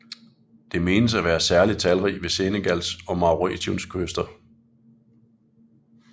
Den menes at være særlig talrig ved Senegals og Mauretaniens kyster